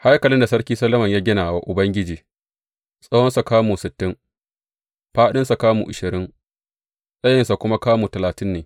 Haikalin da Sarki Solomon ya gina wa Ubangiji, tsawonsa kamu sittin, fāɗinsa kamu ashirin, tsayinsa kuma kamu talatin ne.